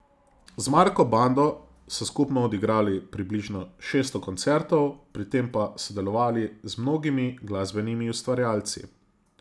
Z Marko bando so skupno odigrali približno šeststo koncertov, pri tem pa sodelovali z mnogimi glasbenimi ustvarjalci.